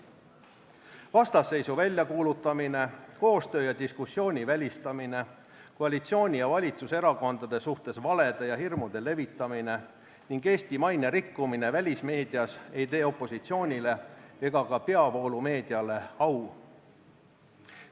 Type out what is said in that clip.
Vastasseisu väljakuulutamine, koostöö ja diskussiooni välistamine, koalitsiooni ja valitsuserakondade suhtes valede ja hirmude levitamine ning Eesti maine rikkumine välismeedias ei tee opositsioonile ega ka peavoolumeediale au.